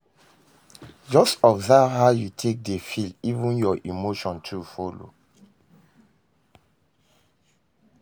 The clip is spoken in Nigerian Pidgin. Jus observe how yu take dey feel even yur emotion too follow